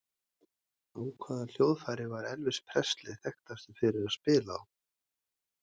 Á hvaða hljóðfæri var Elvis Presley þekktastur fyrir að spila á?